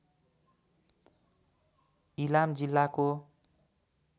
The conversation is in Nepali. इलाम जिल्लाको